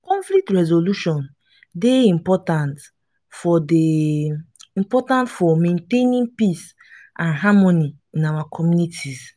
conflict resolution dey important for dey important for maintaining peace and harmony in our communities.